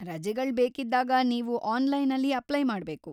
ರಜೆಗಳ್ ಬೇಕಿದ್ದಾಗ ನೀವು ಆನ್‌ಲೈನಲ್ಲಿ ಅಪ್ಲೈ ಮಾಡ್ಬೇಕು.